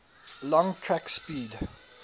long track speed